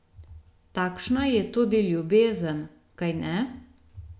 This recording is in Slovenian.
Takšna je tudi ljubezen, kajne?